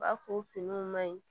U b'a fɔ finiw ma ɲi